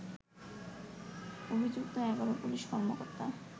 অভিযুক্ত ১১ পুলিশ কর্মকর্তা